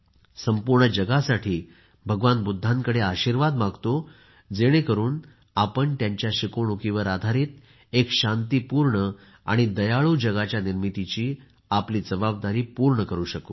संपूर्ण जगासाठी भगवान बुद्धांकडे आशीर्वाद मागतो जेणेकरून आपण त्यांच्या शिकवणुकीवर आधारित एक शांतीपूर्ण आणि दयाळू जगाच्या निर्मितीची आपली जबादारी पूर्ण करू शकू